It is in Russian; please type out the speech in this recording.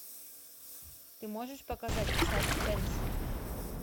ты можешь показать саспенс